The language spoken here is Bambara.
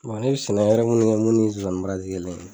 ne sɛnɛ wɛrɛ mun kɛ mun ni nsonsani baara te kelen